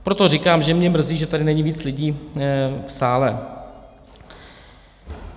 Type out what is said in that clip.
Proto říkám, že mě mrzí, že tady není víc lidí v sále.